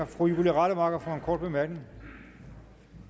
fru julie rademacher for en kort bemærkning